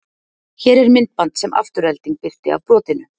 Hér er myndband sem Afturelding birti af brotinu.